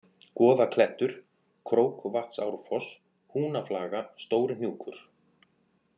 Goðaklettur, Króksvatnsárfoss, Húnaflaga, Stórihnjúkur